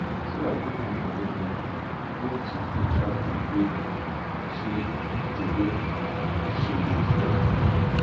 sarah put money for many envelope make she fit track the way she the way she dey spend